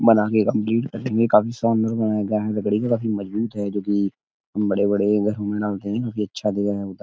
बना के कम्पलीट कर देंगे काफी लकड़ी के काफी मजबूत है जोकि हम बड़े - बड़े घरों में डालते हैं। काफी अच्छा --